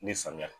Ni samiya